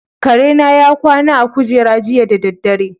Kare na ya kwana a kujera jiya da dare.